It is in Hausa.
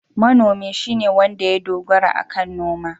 Manomi shine wanda ya dogara akan noma.